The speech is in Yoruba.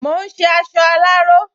Mò ún ṣe aṣọ aláró